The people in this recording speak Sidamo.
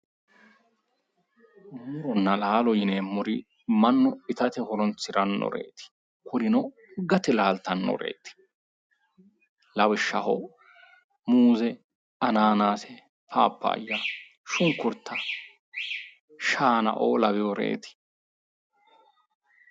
Muronna laalo yineemmori mannu ittate horonsiranoreti kurino gate laalittanoreti lawishshaho muuze, Ananaase, phaphaya, shunkurta ,shaanao laweyoreti